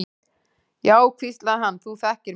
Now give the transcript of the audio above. Já, hvíslaði hann, þú þekkir mig.